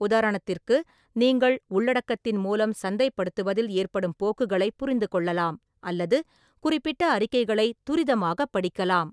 உதாரணத்திற்கு, நீங்கள் உள்ளடக்கத்தின் மூலம் சந்தைப்படுத்துவதில் ஏற்படும் போக்குகளைப் புரிந்துகொள்ளலாம் அல்லது குறிப்பிட்ட அறிக்கைகளைத் துரிதமாகப் படிக்கலாம்.